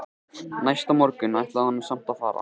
Næsta morgun ætlaði hún samt að fara.